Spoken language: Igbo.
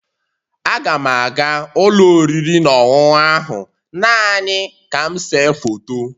Aga m aga ụlọ oriri na ọṅụṅụ ahụ naanị ka m see foto